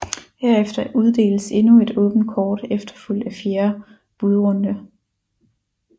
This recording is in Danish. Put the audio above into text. Herefter uddeles endnu et åbent kort efterfulgt af fjerde budrunde